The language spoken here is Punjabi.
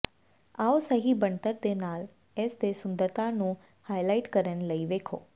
ਆਓ ਸਹੀ ਬਣਤਰ ਦੇ ਨਾਲ ਇਸ ਦੇ ਸੁੰਦਰਤਾ ਨੂੰ ਹਾਈਲਾਈਟ ਕਰਨ ਲਈ ਵੇਖੋ